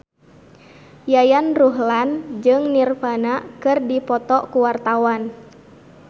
Yayan Ruhlan jeung Nirvana keur dipoto ku wartawan